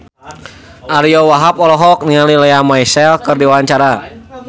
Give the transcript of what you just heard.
Ariyo Wahab olohok ningali Lea Michele keur diwawancara